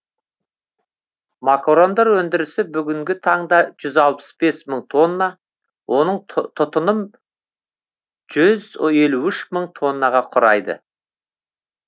макарондар өндірісі бүгінгі таңда жүз алпыс бес мың тонна оның тұтыным жүз елу үш мың тоннаға құрайды